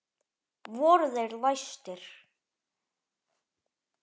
Voru þeir læstir.